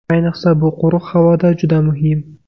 Ayniqsa, bu quruq havoda juda muhim.